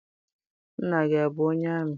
Nna gị abụ onye amị?